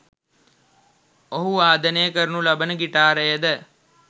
ඔහු වාදනය කරනු ලබන ගිටාරයද